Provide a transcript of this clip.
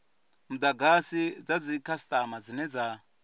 mudagasi dza dzikhasitama dzine dza